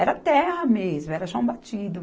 Era terra mesmo, era chão batido